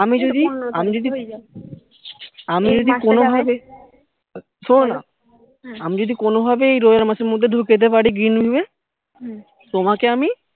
আমি যদি আমি যদি আমি যদি কোনো ভাবে শোনো না আমি যদি কোনো ভাবে এই রোজার মাসের মধ্যে ঢুকে যেতে পারি green view এ তোমাকে আমি